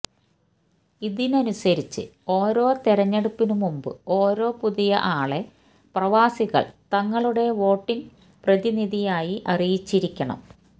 ഇതനുസരിച്ച് ഓരോ തെരഞ്ഞെടുപ്പിനുമുമ്പ് ഓരോ പുതിയ ആളെ പ്രവാസികൾ തങ്ങളുടെ വോട്ടിംഗ് പ്രതിനിധിയായി അറിയിച്ചിരിക്കണം